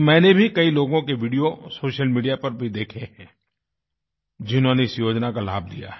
मैंने भी कई लोगों के वीडियो सोशल मीडिया पर भी देखे है जिन्होंने इस योजना का लाभ लिया है